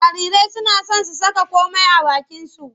Jarirai suna son su saka komai a bakinsu.